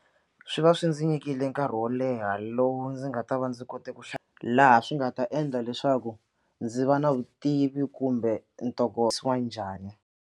Swi va swi ndzi nyikile nkarhi wo leha lowu ndzi nga ta va ndzi kote ku laha swi nga ta endla leswaku ndzi va na vutivi kumbe ntokoto wa njhani.